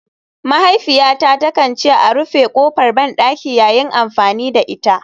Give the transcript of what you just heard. Mahaifiyata takan ce a rufe kofar bandaki yayin amfani da ita.